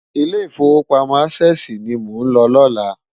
Ilé Ifówópámò Ásèsi ni mó n ló lòlá